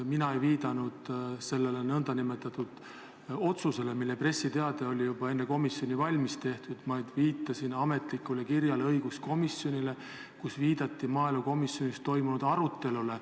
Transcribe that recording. Mina ei viidanud sellele nn otsusele, mille pressiteade oli juba enne komisjoni valmis tehtud, vaid viitasin ametlikule kirjale, mis saadeti õiguskomisjonile ja milles viidati maaelukomisjonis toimunud arutelule.